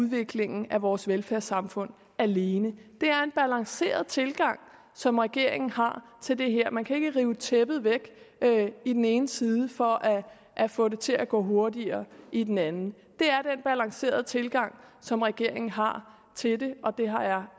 af udviklingen af vores velfærdssamfund alene det er en balanceret tilgang som regeringen har til det her man kan ikke rive tæppet væk i den ene side for at få det til at gå hurtigere i den anden det er den balancerede tilgang som regeringen har til det og det har jeg